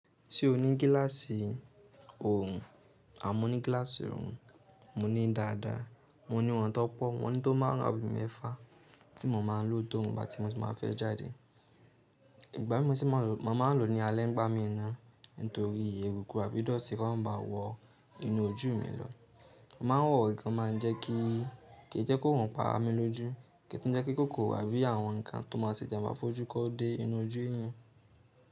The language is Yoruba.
Ṣé o ní gíláàsì òòrùn? Mo ní gíláàsì òòrùn, mo ní dáadáa. Mo ní wọn tan pọ̀, wọ́n ni tó máarun abi mẹ́fà tí mo máa ń lò ti oorun bà tí mo bá fẹ́ jáde. Ìgbà mí mo si máa lò mo maa lo ni alẹ́ ń gbá mii ná, nítorí èrukù abí idọ́ti kọ́ má ba wọ inú ojú mi lọ. Mo máa ń wọ̀ eyi to máa ń jẹ́ kí, kì í jẹ́ ki oorùn pa mí lójú, kì í tún jẹ́ kí kòkò àbí àwọn nǹkan tó máa ṣe ijamba fojú kó dé inú ojú eeyan.